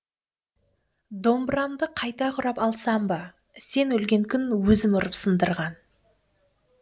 домбырамды қайта құрап алсам ба сен өлген күн өзім ұрып сындырған